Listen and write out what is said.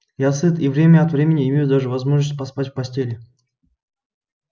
я сыт и время от времени имею даже возможность поспать в постели